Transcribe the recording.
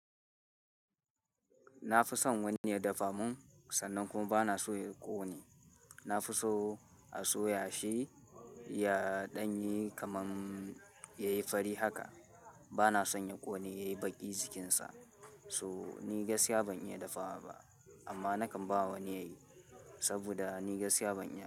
Na fi son wani ya dafa mun sannan kuma bana so ya ƙone. Na fi so a soya shi, ya ɗanye kamar yayi fari haka. Bana son ya ƙone yayi baƙi jikinsa. So ni gaskiya ban iya dafawa ba amma nakan ba wani yayi saboda ni gaskiya ban iya ba.